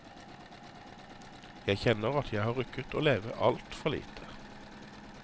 Jeg kjenner at jeg har rukket å leve alt for lite.